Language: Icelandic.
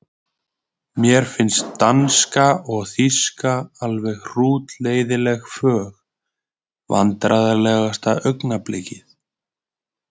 Mér finnst danska og þýska alveg hrútleiðinleg fög Vandræðalegasta augnablik?